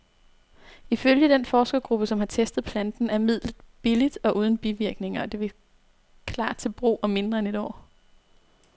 Ifølge den forskergruppe, som har testet planten, er midlet billigt og uden bivirkninger, og det vil klar til brug om mindre end et år.